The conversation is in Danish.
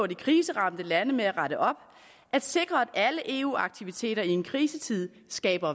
de kriseramte lande med at rette op at sikre at alle eu aktiviteter i en krisetid skaber